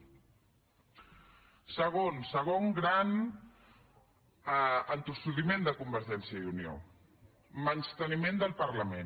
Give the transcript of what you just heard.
segon segon gran entossudiment de convergència i unió menysteniment del parlament